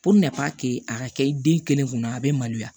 a ka kɛ den kelen kunna a bɛ maloya